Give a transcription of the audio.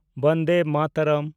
Vande Mataram